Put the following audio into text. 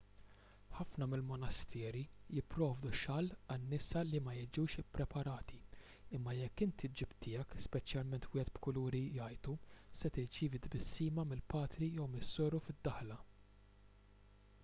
ħafna mill-monasteri jipprovdu xall għan-nisa li ma jiġux ippreparati imma jekk inti ġġib tiegħek speċjalment wieħed b'kuluri jgħajtu se tirċievi tbissima mill-patri jew mis-soru fid-daħla